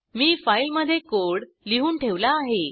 मी फाईलमधे कोड लिहून ठेवला आहे